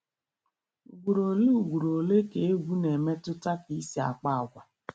Ugboro ole Ugboro ole ka egwu na-emetụta ka I si akpa agwa.